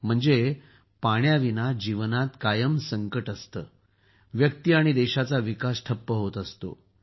म्हणजे पाण्याविना जीवनात संकट कायम असतेच व्यक्ती आणि देशाचा विकास ठप्प होत असतो